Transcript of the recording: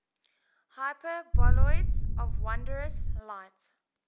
hyperboloids of wondrous light